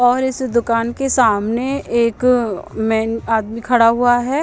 और इस दुकान के एक सामने मेन अ आदमी खड़ा हुआ हैं।